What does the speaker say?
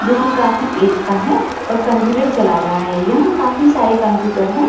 जोकि काफी ऐज का है और कंप्यूटर चला रहा है यहाँ काफी सारे कंप्यूटर है ।